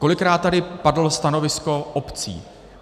Kolikrát tady padlo stanovisko obcí.